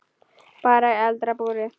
Bara í eldra búri.